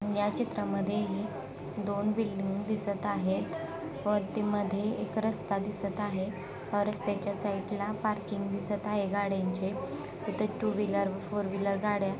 या चित्रामध्ये हे दोन बिल्डिंग दिसत आहेत वरती मध्ये एक रस्ता दिसत आहे व रस्त्याच्या साइड ला पार्किंग दिसत आहे गाड्यांचे इथ टू व्हीलर फोर व्हीलर गाड्या --